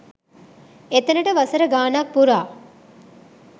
එතනට වසර ගානක් පුරා